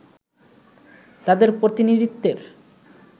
তাদের প্রতিনিধিত্বের